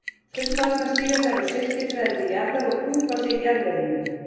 Fullvaxnar síga þær á silkiþræði til jarðar og púpa sig í jarðveginum.